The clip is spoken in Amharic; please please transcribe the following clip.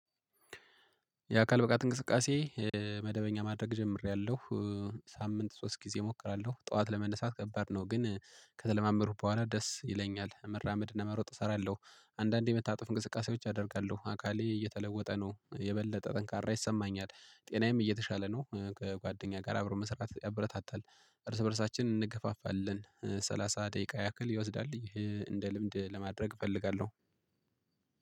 የአካል ብቃት እንቅስቃሴ መደበኛ ማድረግ ጀምሬያለሁ። ሳምንት ሶስት ጊዜ እሞክራለሁ ጠዋት ለመነሳት ከባድ ነው። ግን ከተለማመድኩ በኋላ ደስ ይለኛል። መራመድና መሮጥ እሰራለሁ። አንዳንዴ የምታጠፉን እንቅስቃሴዎች አደርጋለሁ አካሌ እየተለወጠ ነው። የበለጠ ጠንካራ ይሰማኛል ጤናዬም እየተሻለ ነው፤ ከጓደኛ ጋር አብሮ መስራት ያበረታታል። እርስ በእርሳችን እንገፋፋለን ሰላሳ ደቂቃ ያክል ይወስዳል እንደ ልምድ ለማድረግ እፈልጋለሁ።